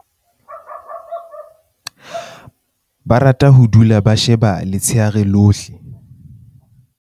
Ba rata ho dula ba seba letsheare lohle.